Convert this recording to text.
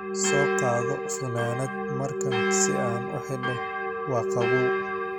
Soo qaado funaanad markan si aan u xidho, waa qabow.